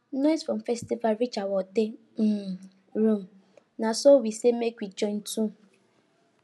noise from festival reach our hotel um room na so we say make we join too